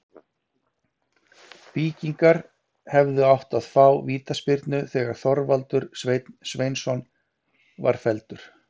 Víkingar hefðu átt að fá vítaspyrnu þegar Þorvaldur Sveinn Sveinsson var felldur.